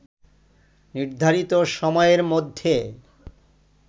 নির্ধারিত সময়ের মধ্যে